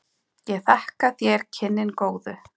Ég þakka þér kynnin góðu.